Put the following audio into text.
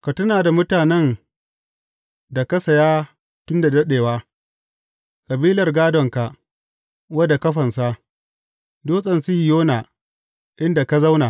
Ka tuna da mutanen da ka saya tun da daɗewa, kabilar gādonka, wadda ka fansa, Dutsen Sihiyona, inda ka zauna.